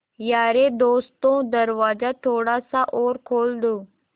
यारे दोस्तों दरवाज़ा थोड़ा सा और खोल दो